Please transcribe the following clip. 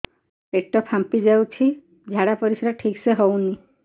ପେଟ ଫାମ୍ପି ଯାଉଛି ଝାଡ଼ା ପରିସ୍ରା ଠିକ ସେ ହଉନି